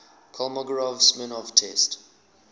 kolmogorov smirnov test